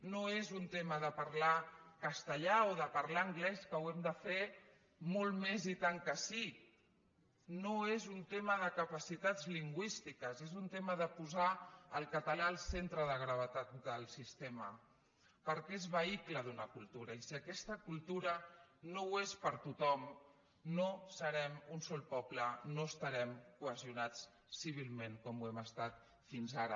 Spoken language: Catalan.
no és un tema de parlar castellà o de parlar anglès que ho hem de fer molt més i tant que sí no és un tema de capacitats lingüístiques és un tema de posar el català al centre de gravetat del sistema perquè és vehicle d’una cultura i si aquesta cultura no ho és per a tothom no serem un sol poble no estarem cohesionats civilment com ho hem estat fins ara